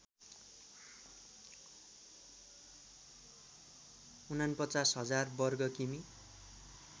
४९००० वर्ग किमि